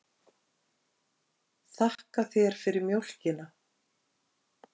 Þakka þér fyrir mjólkina.